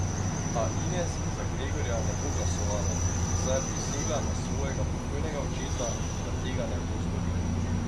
A Ines za Gregorja ne bo glasovala, saj je prisegla na svojega pokojnega očeta, da tega ne bo storila ...